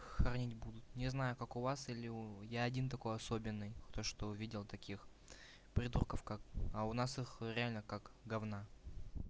хоронить будут не знаю как у вас или я один такой особенный то что видел таких придурков как а у нас их реально как говна